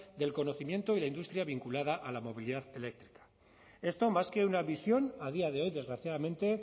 del conocimiento y la industria vinculada a la movilidad eléctrica esto más que una visión a día de hoy desgraciadamente